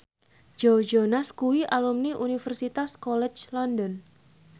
Joe Jonas kuwi alumni Universitas College London